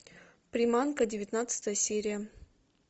приманка девятнадцатая серия